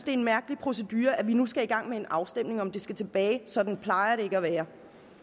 er en mærkelig procedure at vi nu skal i gang med en afstemning om om det skal tilbage sådan plejer